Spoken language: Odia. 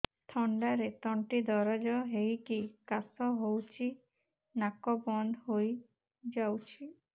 ଥଣ୍ଡାରେ ତଣ୍ଟି ଦରଜ ହେଇକି କାଶ ହଉଚି ନାକ ବନ୍ଦ ହୋଇଯାଉଛି